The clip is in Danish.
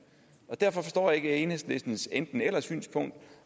derfor forstår jeg ikke enhedslistens enten eller synspunkt